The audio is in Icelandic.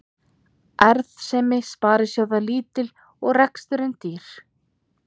Arðsemi sparisjóða lítil og reksturinn dýr